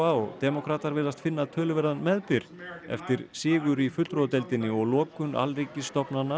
og demókratar virðast finna töluverðan meðbyr eftir sigur í fulltrúadeildinni og lokun